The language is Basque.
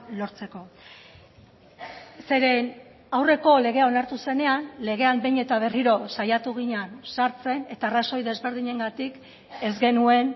lortzeko zeren aurreko legea onartu zenean legean behin eta berriro saiatu ginen sartzen eta arrazoi desberdinengatik ez genuen